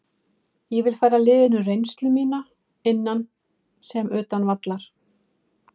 Ég vil færa liðinu reynslu mína, innan sem utan vallar.